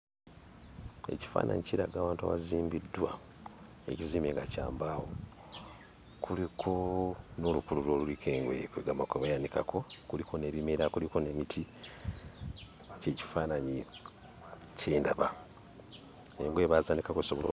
Ekifaananyi kiraga awantu awazimbiddwa ekizimbe nga kya mbaawo kuliko n'olukululo oluliko engoye kweggamba kwe bayanikako kuliko n'ebimera kuliko n'emiti kye kifaananyi kye ndaba engoye baazaanikako zisobole.